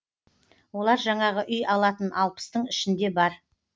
олар жаңағы үй алатын алпыстың ішінде бар